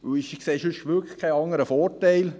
Ich sehe sonst wirklich keinen anderen Vorteil.